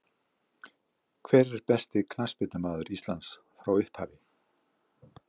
Hver besti knattspyrnumaður Íslands frá upphafi?